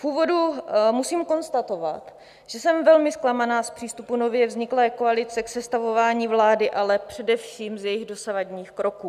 V úvodu musím konstatovat, že jsem velmi zklamaná z přístupu nově vzniklé koalice k sestavování vlády, ale především z jejích dosavadních kroků.